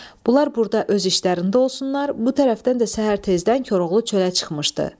Bunlar burda öz işlərində olsunlar, bu tərəfdən də səhər tezdən Koroğlu çölə çıxmışdı.